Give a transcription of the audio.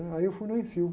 Aí eu fui no.